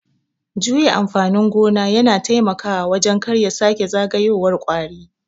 Juya amfanin gona yana taimakawa wajen karya sake zagayowar kwari.